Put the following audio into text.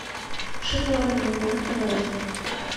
шоколадный магнат мороженное